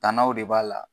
Tannaw de b'a la